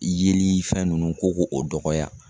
Yelifɛn ninnu ko k'o o dɔgɔya